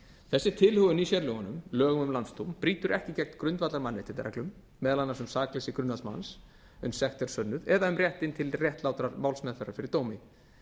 þessi tilhögun í sérlögunum lögum um landsdóm brýtur ekki gegn grundvallarmannréttindareglum meðal annars um sakleysi grunaðs manns uns sekt er sönnuð eða um réttinn til réttlátrar málsmeðferðar fyrir dómi